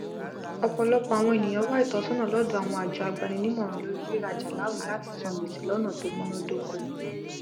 ọpọlọpọ àwon èniyàn wá ìtọsọnà lọdọ àwọn àjọ agbaninímọràn lórí rírajà láwìn latí san gbèsè lọnà tó múná dóko